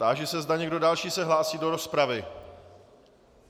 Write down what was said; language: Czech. Táži se, zda někdo další se hlásí do rozpravy.